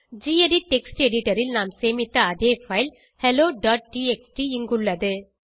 gedit text editor ல் நாம் சேமித்த அதே பைல் helloடிஎக்ஸ்டி இங்குள்ளது